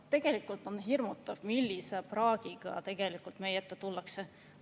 Tegelikult on hirmutav, millise praagiga meie ette tullakse.